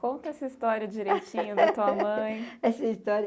Conta essa história direitinho (gargalhadada) da tua mãe. essa história